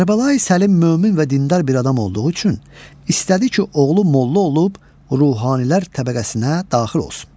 Kərbəlayi Səlim mömin və dindar bir adam olduğu üçün istədi ki, oğlu molla olub ruhanilər təbəqəsinə daxil olsun.